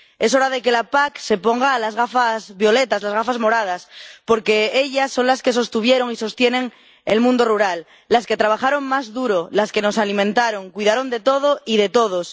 Es hora de que la PAC se ponga las gafas violetas, las gafas moradas, porque ellas son las que sostuvieron y sostienen el mundo rural, las que trabajaron más duro, las que nos alimentaron, cuidaron de todo y de todos.